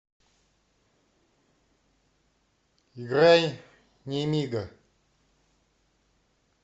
играй немига